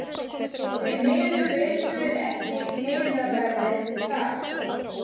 Því miður vitum við ekki miðaverðið þar.